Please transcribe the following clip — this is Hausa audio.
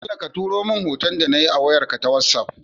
Bello ka turo mun hoton da nayi a wayar ka ta whatsapp